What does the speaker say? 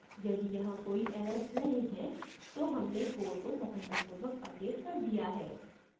यदि यहाँ कोई errors नहीं है तो हमने core को सफलतापूर्वक अपडेट कर दिया है